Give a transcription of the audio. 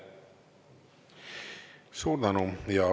Suur tänu!